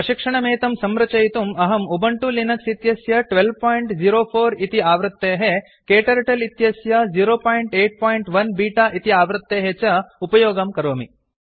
प्रशिक्षणमेतं संरचयितुम् अहम् Ubuntu Linux इत्यस्य 1204 इति आवृत्तेः क्टर्टल इत्यस्य 081 बीटा इति आवृत्तेः च उपयोगं करोमि